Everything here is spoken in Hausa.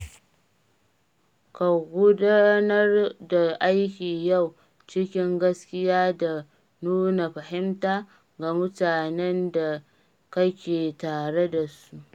Ka gudanar da aiki yau cikin gaskiya da nuna fahimta ga mutanen da kake tare da su.